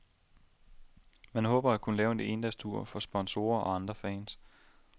Man håber at kunne lave en endagstur for sponsorer og andre fans.